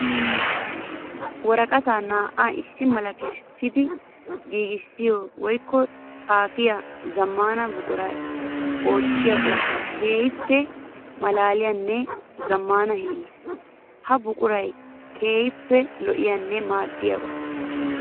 Woraqqatta naa'a issi mala kessiddi giiggissiya woykko xaafiya zamaana buquray ootiyo oosoy keehippe malaaliyanne zamaana hiilla. Ha buquray keehippe lo'iyanne maadiyaba.